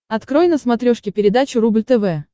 открой на смотрешке передачу рубль тв